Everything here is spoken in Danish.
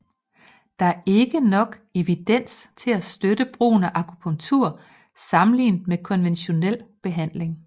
Der er ikke nok evidens til at støtte brugen af akupunktur sammenlignet med konventionel behandling